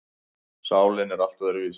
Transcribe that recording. Sálin er allt öðruvísi.